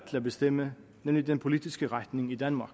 til at bestemme nemlig den politiske retning i danmark